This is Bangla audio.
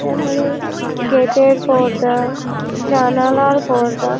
এখানে গেট এর পর্দা জানালার পর্দা।